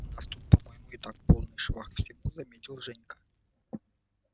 у нас тут по-моему и так полный швах всему заметил женька